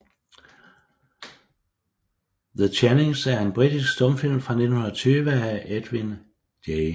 The Channings er en britisk stumfilm fra 1920 af Edwin J